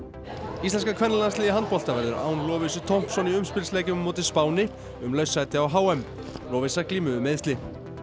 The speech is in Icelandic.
íslenska kvennalandsliðið í handbolta verður án Lovísu Thompson í umspilsleikjum á móti Spáni um laust sæti á h m Lovísa glímir við meiðsli